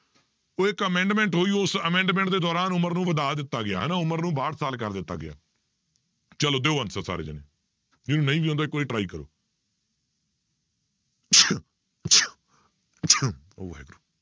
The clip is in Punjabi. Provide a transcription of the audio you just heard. ਉਹ ਇੱਕ amendment ਹੋਈ ਉਸ amendment ਦੇ ਦੌਰਾਨ ਉਮਰ ਨੂੰ ਵਧਾ ਦਿੱਤਾ ਗਿਆ, ਹਨਾ ਉਮਰ ਨੂੰ ਬਾਹਠ ਸਾਲ ਕਰ ਦਿੱਤਾ ਗਿਆ ਚਲੋ ਦਿਓ answer ਸਾਰੇ ਜਾਣੇ, ਜਿਹਨੂੰ ਨਹੀਂ ਵੀ ਆਉਂਦਾ ਇੱਕ ਵਾਰੀ try ਕਰੋ ਉਹ ਵਾਹਿਗੁਰੂ